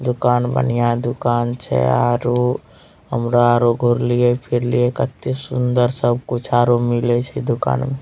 दुकान बढ़िया दूकान छै आरो हमरा घूर लिए फिर लिए कतो सुन्दर सब कुछ आरो मिले छै दूकान में।